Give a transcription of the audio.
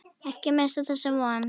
Ekki missa þessa von.